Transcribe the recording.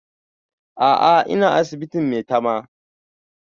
A'a ina asibitin maitama